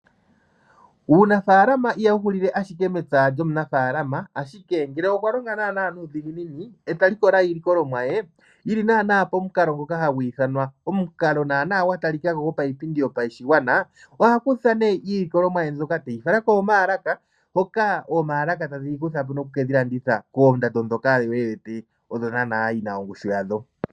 Uunafaalama ihawu hulile ashike mepya lyomunafaalama, ashike ngele okwa longa nuudhiginini e ta likola iilikolomwa ye yili naana pomukalo ngoka hagu ithanwa omukalo naana gwa talikako go payipindi yopashigwana. Oha kutha nee iilikolomwa ye mbyoka teyi fala koomaalaka, mpoka oomaalaka tadhi yi kutha po noku kedhi landitha koondando dhoka yo yedhi odho naana yina ongushu yadho.